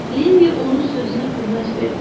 Lenni onun sözünə qüvvət verdi.